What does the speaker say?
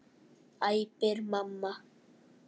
æpir mamma.